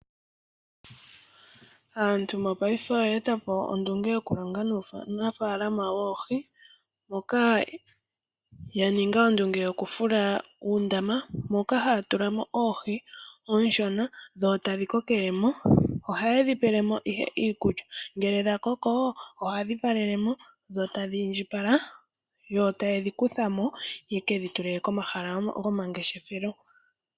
Aantu mopaife oya eta po ondunge yokulonga nuunafalama woohi, moka ya ninga ondunge yokufula uundama, moka haya tula mo oohi oonshonadho tadhi kokele mo. Ohaye dhi pele mo ihe iikulya. Ngele dha koko ohadhi valele mo dho tadhi indjipala, yo taye dhi kutha mo ye ke dhi tule komahala gomangeshefelo.